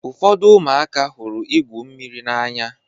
Ụfọdụ ụmụaka hụrụ igwụ mmiri n'anya.